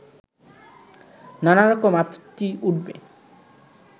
নানা রকম আপত্তি উঠবে